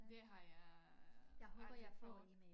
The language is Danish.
Det har jeg aldrig prøvet